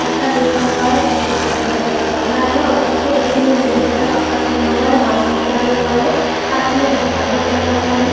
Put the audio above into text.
कुत्ता लेटा हुआ है जिसके ऊपर हरे रंग का कपड़ा है और दूसरे व्यक्ति ने नीले रंग का कपड़ा पहना हुआ है मास्क लगाया हुआ है हाथ में दस्ताना पहना हुआ है ।